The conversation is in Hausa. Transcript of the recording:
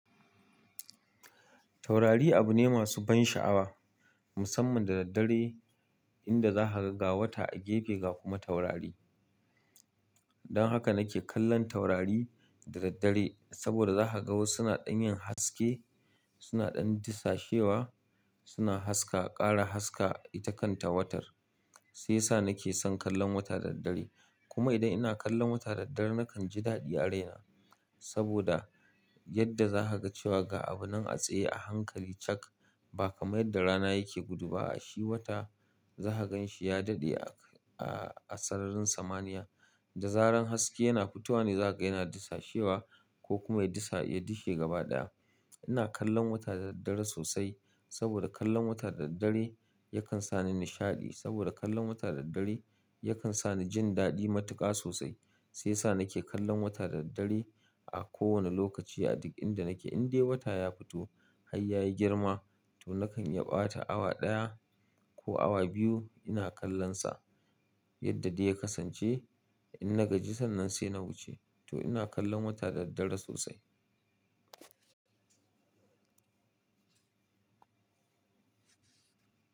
Taurari abu ne masu ban sha'awa, musamman da daddare inda za ka ga wata a gefe ga kuma taurari. Don haka nake kallon taurari da daddare saboda za ka ga wasu suna ɗanyin haske, suna ɗan disashewa, suna haska, ƙara haska itakan ta watar. Shi yasa nake son kallon wata da daddare. Kuma idan ina kallon wata da daddare nakan ji dadi a raina saboda yadda zakaga cewa ga abunan a tsaye a hankali cak ba kamar yadda rana yake gudu ba a shi wata za ka gan shi ya daɗe a, a sararin samaniya da zarar haske yana fitowa ne za ka ga yana disashewa ko kuma ya disha, ya dishe gaba ɗaya. Ina kallon wata da daddare sosai saboda kallon wata da daddare yakan sa ni nishaɗi saboda kallon wata da daddare yakan sa ni jin daɗi matuƙa sosai. Shi yasa nake kallon wata da daddare a kowane lokaci a duk inda nake. Indai wata ya fito har ya yi girma to nakan yaɓa ta awa ɗaya ko awa biyu ina kallon sa yadda dai ya kasance. Inna gaji sannan saina wuce to ina kallon wata da daddare sosai.